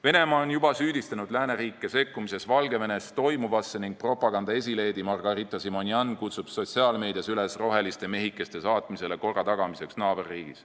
Venemaa on juba süüdistanud lääneriike sekkumises Valgevenes toimuvasse ning propaganda esileedi Margarita Simonjan kutsub sotsiaalmeedias üles saatma rohelised mehikesed naaberriigis korda tagama.